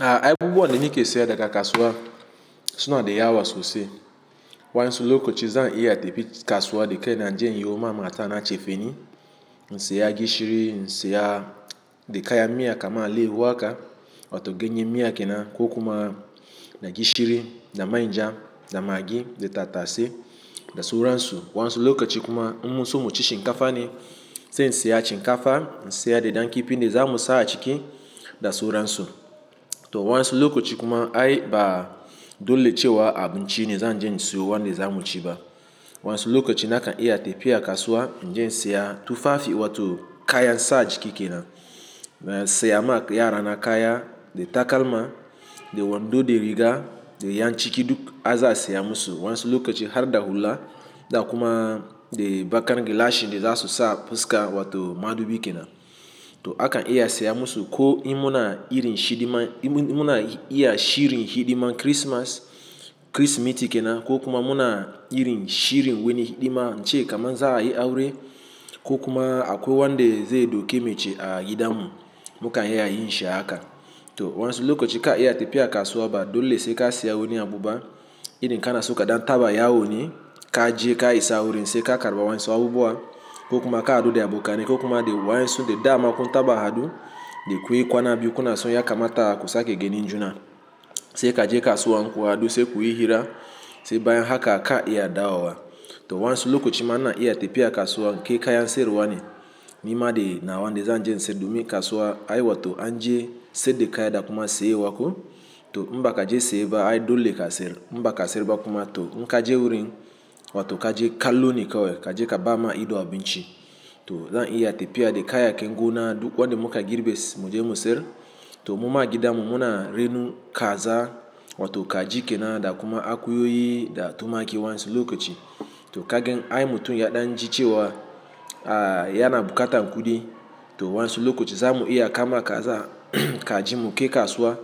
Ah abubuwa wane ne ke saya daga kasuwa, suna da yawa sosai. Wanzu lokaci zan iya tafi kasuwa da kai na je yin yoma mata na cefeni, in saya gishiri, in saya da kaya miya kamar alehu haka, wato ganye miya ke na, ko kuma da gishiri, da manja, da magi, da tatase, da suransu. Wanzu lokaci kuma, mun so mu ci shinkafa ne, sai in saya shinkafa, na saya da dan kifi da za mu sa a ciki da suransu. To wanzu lokaci kuma ai ba dole ce wa abinci ne zan je in siyo wanda za mu ci ba. Wanzu lokaci na kan iya tafiya kasuwa, na je na siya tufafi wato kayan sa jiki ke na. Na siya ma yara na kaya, da takalma, da wando, da riga, da 'yan ciki duk a za a siya musu. Wanzu lokaci har da hula, da kuma, da bakan gilasin da za su sa fuska wato madubi ke na. To a kan iya siya musu ko imuna irin shidi man, imuna iya shirin hidiman Kirismas, Kirsimeti ke na ko kuma muna irin shirin wani hidima, na ce kamar za a yi aure ko kuma akwai wanda zai dauke mace a gida mu, muka iya yin shi haka. To wanzu lokaci ka iya tafiya kasuwa ba dole sai ka saya wani abu ba. Irin kana so kaɗan taba yawo ni, ka je ka isa wurin sai ka karɓa wasu abubuwa ko kuma ka haɗu da abokane ko kuma da wayansu dama kun taba haɗu, da kuyi kwana biyu kuna so ya kama ta kusa ke ganin juna. Sai ka je kasuwa ku hadu sai kuyi hira, sai bayan haka ka iya dawo. To wanzu lokaci ma ina iya tafiya kasuwa, kai kayan siyar wane, nima na na wanda zan je in saida. Domin kasuwa ai wato an je sai da kaya da kuma siyar wako. To in ba ka je siye ba ai dole ka siyar in ba ka siyar ba kuma to in ka je wurin wato ka je kallo ne kawai, ka je ka ba ma ido abinci. To zan iya tafiya da kayakin gonan duk wanda muka girbe su mu je mu siyar to mun ma gida mu muna rinu kaza wato ka ji ke na da kuma akuyoyi da tumaki wanzu lokaci. To kagen ai mutum ya ɗan ji cewa, a yana bukatan kuɗi. To wanzu lokaci za mu iya kama kaza, ka ji mu kai kasuwa,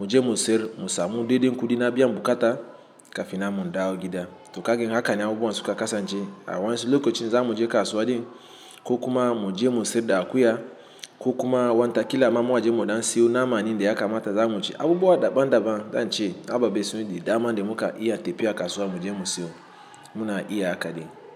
mu je mu siyar mu samu daidai kuɗin na biyan bukata kafin mu dawo gida. To kagen haka ne abubuwan suka kasance a wanzu lokaci za mu je kasuwa din ko kuma mu je mu saida akuya ko kuma wanta kila mamu za mu je muɗa siyo na ma ni da ya kama ta za mu ci. Abubuwa daban daban, zance ababe su ne da dama da muka iya tafiya kasuwa mu je mu siyo, muna iya haka ne.